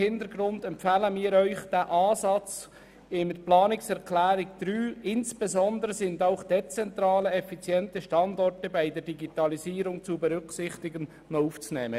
Aus diesem Grund empfehlen wir, den Satz «Insbesondere sind auch dezentrale effiziente Standorte bei der Digitalisierung zu berücksichtigen» aufzunehmen.